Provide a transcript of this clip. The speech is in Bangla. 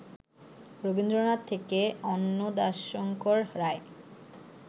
রবীন্দ্রনাথ থেকে অন্নদাশঙ্কর রায়